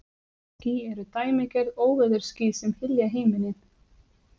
Þessi ský eru dæmigerð óveðursský sem hylja himininn.